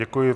Děkuji.